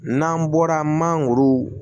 N'an bɔra mangoro